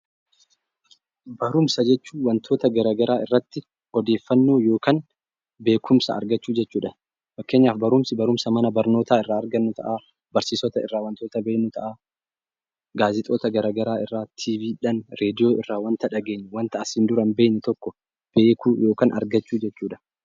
Barumsa jechuun wantoota gara garaa irratti odeeffannoo yookaan beekumsa argachuu jechuudha. Fakkeenyaaf barumsi barumsa mana barnootaa irraa argannu ta'a, barsiisota irraa waantota beeknu ta'a, gaazexoota gara garaa irraatii, TV dhaan, raadiyoodhaan, waanta hin dhageenye, waanta asiin dura hin beekne tokko beekuu yookiin argachuu jechuudha.